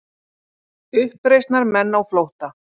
Uppreisnarmenn á flótta